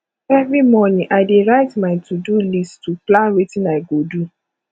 every morning i dey write my todo list to plan wetin i go do